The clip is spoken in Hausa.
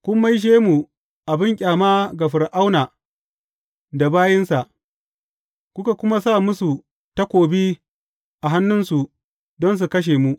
Kun maishe mu abin ƙyama ga Fir’auna da bayinsa, kuka kuma sa musu takobi a hannunsu don su kashe mu.